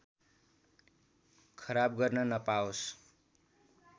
खराब गर्न नपाओस्